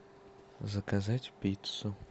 заказать пиццу